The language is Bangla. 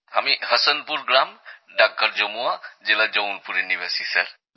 আমি হসনপুর গ্রাম ডাকঘর জমুয়া জেলা জৌনপুরের নিবাসী স্যার